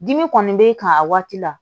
Dimi kɔni b'e kan a waati la